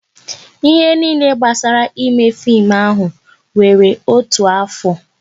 Ihe niile gbasara ime fim ahụ wéré otu afọ